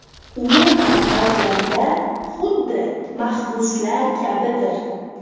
Umuman olganda, xuddi mahbuslar kabidir.